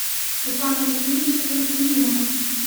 руслана васильевича константинова